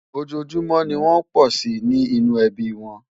ọjọ júmò ní wón pò sí ní inú ẹbí wón